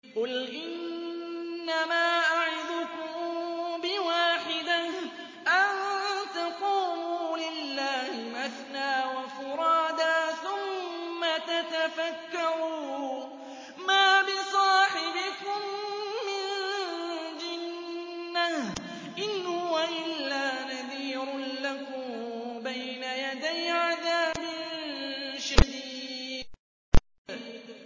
۞ قُلْ إِنَّمَا أَعِظُكُم بِوَاحِدَةٍ ۖ أَن تَقُومُوا لِلَّهِ مَثْنَىٰ وَفُرَادَىٰ ثُمَّ تَتَفَكَّرُوا ۚ مَا بِصَاحِبِكُم مِّن جِنَّةٍ ۚ إِنْ هُوَ إِلَّا نَذِيرٌ لَّكُم بَيْنَ يَدَيْ عَذَابٍ شَدِيدٍ